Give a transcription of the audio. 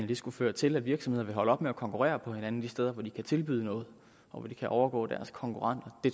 det skulle føre til at virksomheder vil holde op med at konkurrere med hinanden de steder hvor de kan tilbyde noget og hvor de kan overgå deres konkurrenter